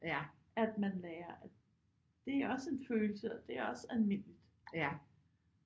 At man lærer at det er også en følelse og det er også almindeligt